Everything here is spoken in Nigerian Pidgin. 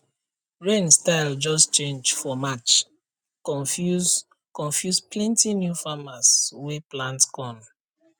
rain style just change for march confuse confuse plenty new farmers wey plant corn